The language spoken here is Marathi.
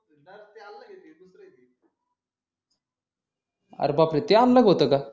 अरे बापरे ते अलग होत का